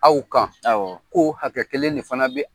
Aw kan ko hakɛ kelen de fana bɛ